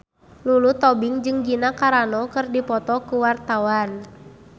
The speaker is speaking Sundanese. Lulu Tobing jeung Gina Carano keur dipoto ku wartawan